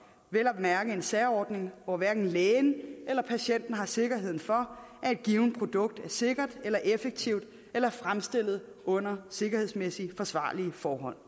vel at mærke en særordning hvor hverken lægen eller patienten har sikkerhed for at et givent produkt er sikkert effektivt eller fremstillet under sikkerhedsmæssigt forsvarlige forhold